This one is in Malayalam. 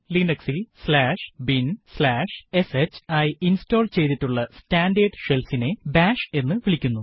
Linux ൽ binsh ആയി ഇൻസ്റ്റോൾ ചെയ്യ്തിട്ടുള്ള സ്റ്റാൻഡേർഡ് shell ഇനെ ബാഷ് എന്ന് വിളിക്കുന്നു